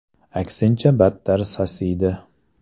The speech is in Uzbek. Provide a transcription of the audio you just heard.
Aksincha, battar sasiydi”.